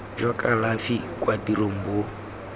jwa kalafi kwa tirong bo